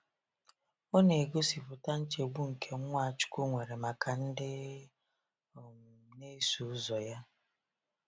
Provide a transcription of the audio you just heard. Ọ na-egosipụta nchegbu nke Nwachukwu nwere maka ndị um na-eso ụzọ ya.